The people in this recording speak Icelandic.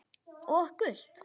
Og gult?